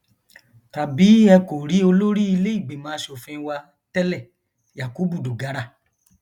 tàbí ẹ kò rí olórí iléìgbìmọ asòfin wa tẹlẹ yakubu dogara